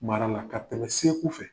Mara la ka tɛmɛ segu fɛ